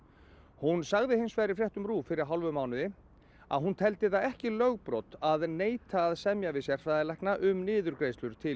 hún sagði hins vegar í fréttum RÚV fyrir hálfum mánuði að hún teldi það ekki lögbrot að neita að semja við sérfræðilækna um niðurgreiðslur til